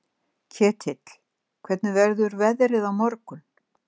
Ketill, hvernig verður veðrið á morgun?